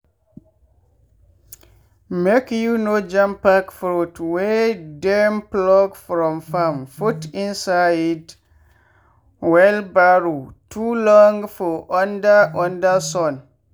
make you no jampack fruit wey dem pluck from farm put inside wheelbarrow too long for under under sun.